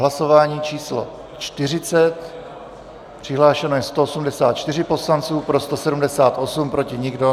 Hlasování číslo 40, přihlášeno je 184 poslanců, pro 178, proti nikdo.